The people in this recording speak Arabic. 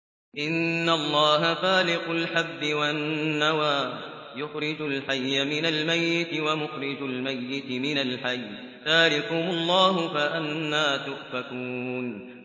۞ إِنَّ اللَّهَ فَالِقُ الْحَبِّ وَالنَّوَىٰ ۖ يُخْرِجُ الْحَيَّ مِنَ الْمَيِّتِ وَمُخْرِجُ الْمَيِّتِ مِنَ الْحَيِّ ۚ ذَٰلِكُمُ اللَّهُ ۖ فَأَنَّىٰ تُؤْفَكُونَ